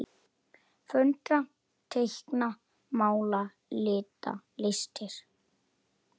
Föndra- teikna- mála- lita- listir